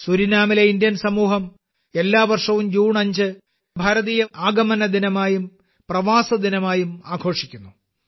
സുരിനാമിലെ ഭാരതീയസമൂഹം എല്ലാ വർഷവും ജൂൺ 5 ഭാരതീയ ആഗമന ദിനമായും പ്രവാസി ദിനമായും ആഘോഷിക്കുന്നു